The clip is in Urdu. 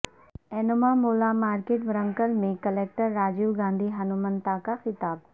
اینومامولہ مارکٹ ورنگل میں کلکٹرراجیو گاندھی ہنمنتو کا خطاب